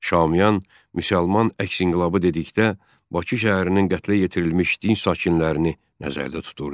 Şamiyan müsəlman əks inqilabı dedikdə Bakı şəhərinin qətlə yetirilmiş dinc sakinlərini nəzərdə tuturdu.